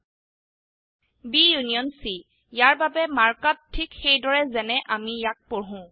B union C -ইয়াৰ বাবে mark up ঠিক সেইদৰেই যেনে অামি ইয়াক পঢ়ো